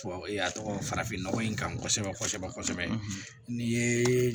Tubabu a tɔgɔ farafinnɔgɔ in kan kosɛbɛ kosɛbɛ n'i ye